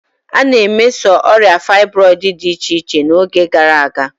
A na-emeso ọrịa fybroidu dị iche-iche n'oge gara aga.